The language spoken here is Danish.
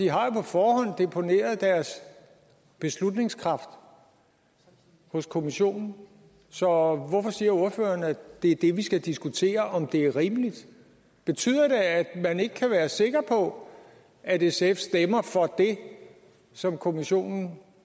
har jo på forhånd deponeret deres beslutningskraft hos kommissionen så hvorfor siger ordføreren at det er det vi skal diskutere altså om det er rimeligt betyder det at man ikke kan være sikker på at sf stemmer for det som kommissionen